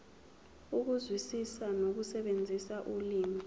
ukuzwisisa nokusebenzisa ulimi